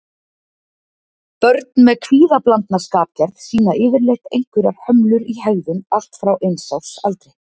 Börn með kvíðablandna skapgerð sýna yfirleitt einhverjar hömlur í hegðun allt frá eins árs aldri.